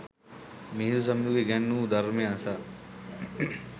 මිහිඳු සමිඳුන් ඉගැන්වු ධර්මය අසා